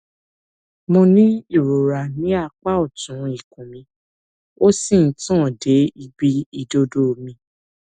mo ní ìrora ní apá ọtún ikùn mi ó sì ń tàn dé ibi ìdodo mi